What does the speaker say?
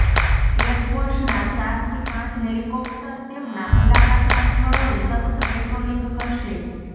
એરફોર્સના ચારથી પાંચ હેલિકોપ્ટર તેમના મુલાકાતના સ્થળોએ સતત પેટ્રોલિંગ કરશે